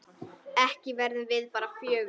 Ekki verðum við bara fjögur?